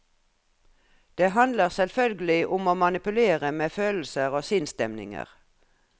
Det handler selvfølgelig om å manipulere med følelser og sinnsstemninger.